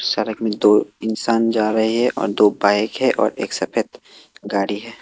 सड़क में दो इंसान जा रहे हैं और दो बाइक है और एक सफेद गाड़ी है ।